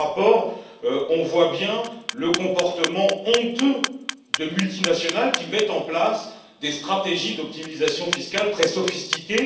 Dans ce rapport, on voit bien le comportement honteux de multinationales qui mettent en place des stratégies d'optimisation fiscale très sophistiquées.